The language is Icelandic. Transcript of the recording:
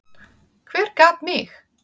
Hver gat mig?